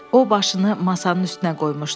O başını masanın üstünə qoymuşdu.